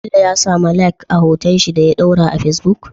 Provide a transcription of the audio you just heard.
Bello ya samu Like a hoton shi da ya dora a facebook?